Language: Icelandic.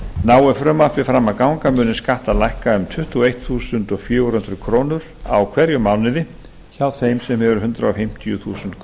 nái frumvarpið fram að ganga munu skattar lækka um tuttugu og eitt þúsund fjögur hundruð krónur á hverjum mánuði hjá þeim sem hefur hundrað fimmtíu þúsund